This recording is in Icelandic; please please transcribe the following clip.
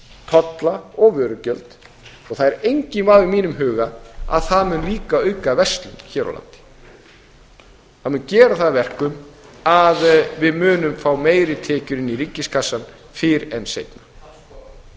tolla og vörugjöld og það er enginn vafi í mínum huga á að það mun líka auka verslun hér á landi það mun gera það að verkum að við munum fá meiri tekjur inn í ríkiskassann fyrr en seinna virðulegi forseti